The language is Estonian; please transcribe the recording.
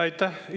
Aitäh!